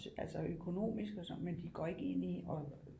Altså økonomisk og sådan men de går ikke ind i at